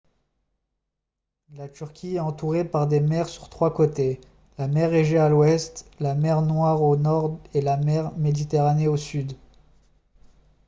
la turquie est entourée par des mers sur trois côtés la mer égée à l'ouest la mer noire au nord et la mer méditerranée au sud